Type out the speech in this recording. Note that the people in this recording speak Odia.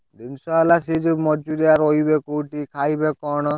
ଜିନିଷ ହେଲା ସେଇ ଯଉ ମଜୁରିଆ ରହିବେ କଉଠି ଖାଇବେ କଣ?